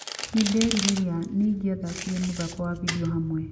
nĩ ndĩrerĩrarĩa nĩ ĩngĩathakire mũthako wa video hamwe